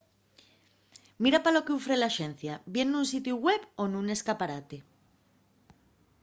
mira pa lo qu’ufre l’axencia bien nun sitiu web o nun escaparate